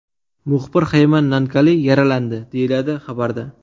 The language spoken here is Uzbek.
Muxbir Xayman Nankali yaralandi”, deyiladi xabarda.